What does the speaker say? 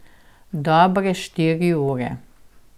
Dobre štiri ure.